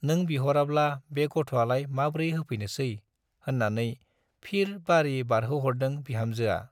नों बिह'राब्ला बे गथ'आलाय माब्रै होफैनोसै - होन्नानै फिर बारि बारहोह'रदों बिहामजोआ।